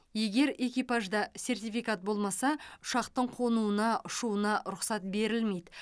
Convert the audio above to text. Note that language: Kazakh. егер экипажда сертификат болмаса ұшақтың қонуына ұшуына рұқсат берілмейді